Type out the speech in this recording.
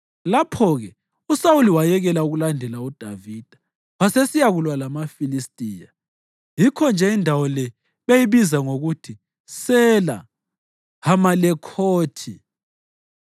Lapho-ke uSawuli wayekela ukulandela uDavida wasesiyakulwa lamaFilistiya. Yikho-nje indawo le beyibiza ngokuthi Sela Hamalekhothi.